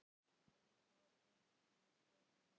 En hvað með börnin, sagði hún.